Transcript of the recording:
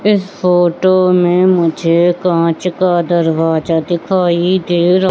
इस फोटो में मुझे कांच का दरवाजा दिखाई दे र--